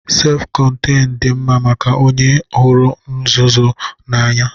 Sef kọnteñ dị mma maka onye hụrụ nzuzo n'anya